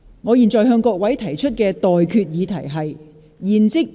我現在向各位提出的待決議題是：現即將辯論中止待續。